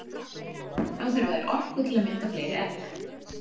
Þá þurfa þær orku til að mynda fleiri egg.